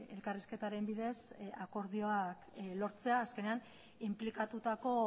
elkarrizketaren bidez akordioak lortzea azkenean inplikatutako